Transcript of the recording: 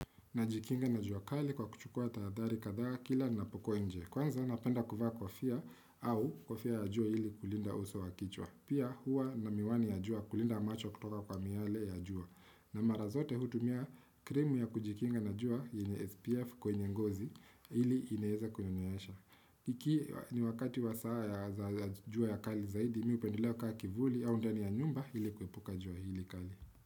Najikinga na jua kali kwa kuchukua tahadhari kadhaa kila napokua nje. Kwanza napenda kuvaa kofia au kofia ya jua ili kulinda uso wa kichwa. Pia hua na miwani ya jua kulinda macho kutoka kwa miale ya jua. Na mara zote hutumia krimu ya kujikinga na jua yenye SPF kwenye ngozi iili inaeza kwenye nyesha. Ikiwa ni wakati wa saa ya jua ya kali zaidi mi hupendelea kukaa kivuli au ndani ya nyumba ili kuepuka jua hili kali.